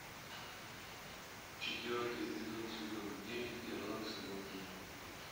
четвертый эпизод сезона девять ирландцы в лондоне